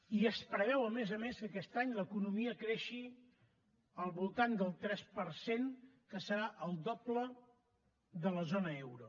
i es preveu a més a més que aquest any l’economia creixi al voltant del tres per cent que serà el doble de la zona euro